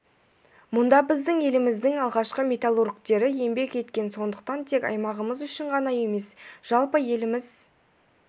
мұнда біздің еліміздің алғашқы металлургтері еңбек еткен сондықтан тек аймағымыз үшін ғана емес жалпы еліміз